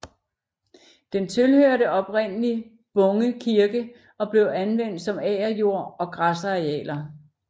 Den tilhørte oprindelig Bunge Kirke og blev anvendt som agerjord og græsarealer